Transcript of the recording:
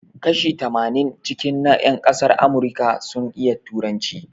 Kashi tamanin cikin na yan ƙasan Amurika sun iya turanci